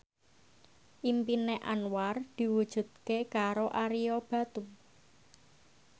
impine Anwar diwujudke karo Ario Batu